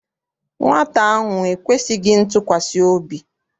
Nwata ahụ ekwesịghị ntụkwasị obi.